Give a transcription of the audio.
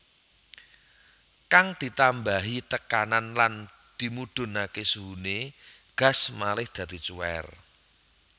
Kang ditambahi tekanan lan dimudhunké suhuné gas malih dadi cuwèr